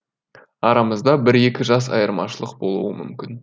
арамызда бір екі жас айырмашылық болуы мүмкін